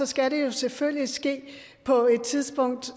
skal det selvfølgelig ske på et tidspunkt